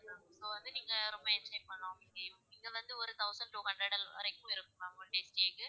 So வந்து நீங்க ரொம்ப enjoy பண்ணலாம். okay இங்க வந்து ஒரு thousand two hundred அந்த மாதிரி rents இருக்கும் ma'am one day stay க்கு.